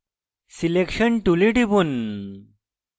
selection tool টিপুন